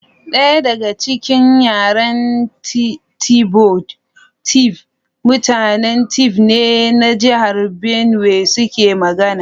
Daya daga cikin yaren Tivoid, Tiv mutanen Tiv ne na jihar Benue suke magana.